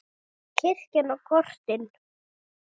Kirkjan og kortin.